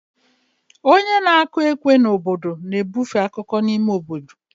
Onye na-akụ ekwe n'obodo na-ebufe akụkọ n'ime obodo.